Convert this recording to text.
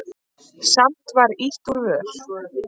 Samt var ýtt úr vör.